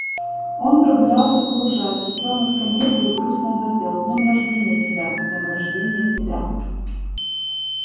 он прогулялся по лужайке сел на скамейку и грустно запел с днём рожденья тебя с днём рожденья тебя